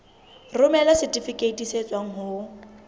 romela setifikeiti se tswang ho